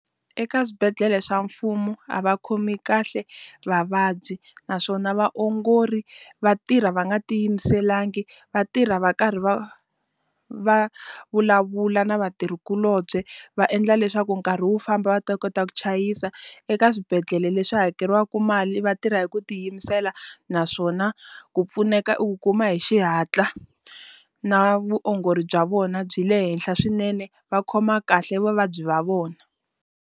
Eka xibedhlele xa mfumo a va khomi kahle vavabyi naswona vaongori va tirha va nga ti yimiselangi va tirha va karhi va va vulavula na vatirhikuloni va endla leswaku nkarhi wu famba va ta kota ku chayisa. Eka swibedhlele leswi hakeriwaka mali va tirha hi ku tiyimisela, naswona ku pfuneka i ku kuma hi xihatla na vuongori bya vona byi le henhla swinene. Va khoma kahle vavabyi va vona.